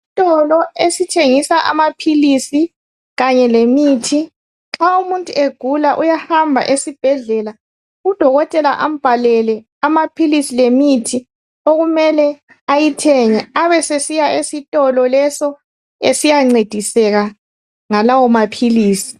Isitolo esithengisa amaphilisi kanye lemithi. Nxa umuntu egula uyahamba esibhedlela udokotela ambhalele amaphilisi lemithi okumele ayithenge abe sesiya esitolo leso esiyancediseka ngalawo maphilisi.